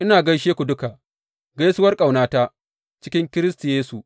Ina gaishe ku duka, gaisuwar ƙaunata cikin Kiristi Yesu.